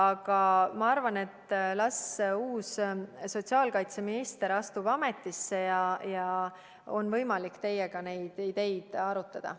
Aga ma arvan, et las uus sotsiaalkaitseminister astub ametisse ja siis on võimalik teiega neid ideid arutada.